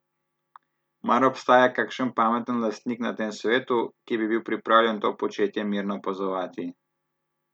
Mar obstaja kakšen pameten lastnik na tem svetu, ki bi bil pripravljen to početje mirno opazovati?